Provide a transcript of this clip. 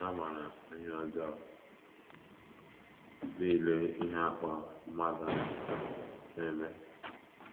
Ha maara ihe ọjọọ nile ihe a kpọrọ mmadụ na - eme.